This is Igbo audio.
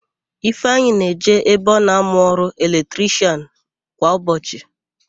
Ifeanyị na-eje ebe ọ na-amụ ọrụ eletrishịan kwa ụbọchị.